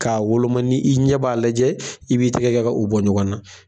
K'a woloma ni i ɲɛ b'a lajɛ, i b'i tigɛ ka u bɔ ɲɔgɔnna